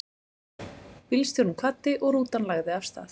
Bílstjórinn kvaddi og rútan lagði af stað.